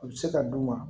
U bɛ se ka d'u ma